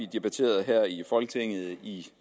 debatterede her i folketinget i